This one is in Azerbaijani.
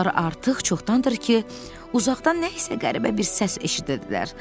Uşaqlar artıq çoxdandır ki, uzaqdan nə isə qəribə bir səs eşidirdilər.